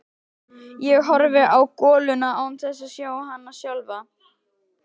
Ég horfi á goluna án þess að sjá hana sjálfa.